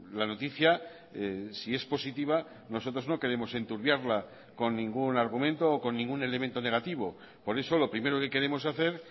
la noticia si es positiva nosotros no queremos enturbiarla con ningún argumento o con ningún elemento negativo por eso lo primero que queremos hacer